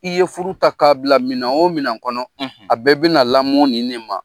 I ye furu ta k'a bila minɛ o minɛ kɔnɔ a bɛɛ bɛna lamɔ ni ne ma.